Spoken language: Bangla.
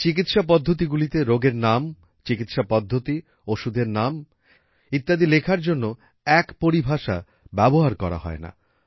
এই চিকিৎসা পদ্ধতিগুলিতে রোগের নাম চিকিৎসা পদ্ধতি ওষুধের নাম ইত্যাদি লেখার জন্য এক পরিভাষা ব্যবহার করা হয়না